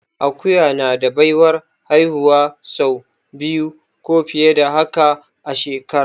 Akuya na da baiwar haihuwa sau biyu ko fiye da haka a shekara